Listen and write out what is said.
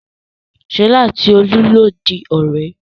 Ṣọlá àti Olú yóò di ọ̀rẹ́.